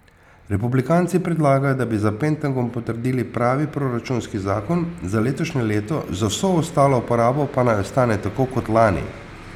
Republikanci predlagajo, da bi za Pentagon potrdili pravi proračunski zakon za letošnje leto, za vso ostalo porabo pa naj ostane tako kot lani.